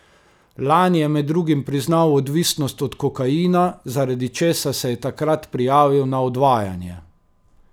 Lani je med drugim priznal odvisnost od kokaina, zaradi česar se je takrat prijavil na odvajanje.